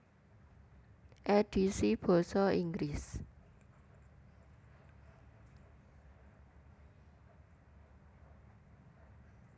Édhisi basa Inggris